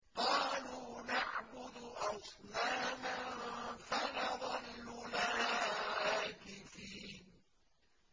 قَالُوا نَعْبُدُ أَصْنَامًا فَنَظَلُّ لَهَا عَاكِفِينَ